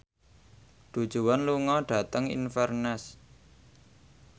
Du Juan lunga dhateng Inverness